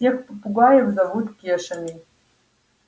всех попугаев зовут кешами